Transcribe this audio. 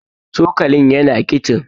cokalin yana kicin